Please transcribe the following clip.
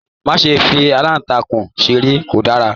Má ṣe fi alantakun seré, ko dára!